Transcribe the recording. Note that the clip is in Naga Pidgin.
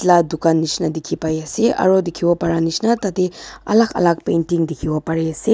light dukan nisna dikhi pai ase aru dikhibo para nisna tate alag alag painting dikhibo pari ase.